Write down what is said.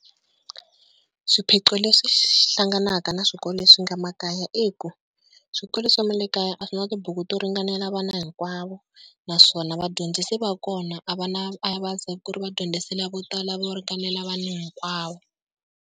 Swiphiqo leswi hlanganaka na swikolo leswi nga makaya, i ku swikolo swa le makaya a swi na tibuku to ringanela vana hinkwavo, naswona vadyondzisi va kona a va na, a va zi ku ri vadyondzisi vo tala vo ringanela vanhu hinkwavo.